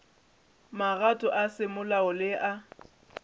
magato a semolao le a